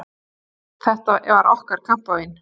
Þetta var okkar kampavín!